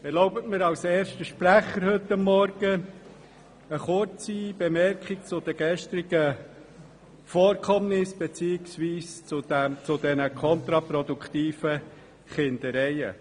Erlauben Sie mir als erster Sprecher heute Morgen eine kurze Bemerkung zu den gestrigen Vorkommnissen beziehungsweise zu diesen kontraproduktiven Kindereien.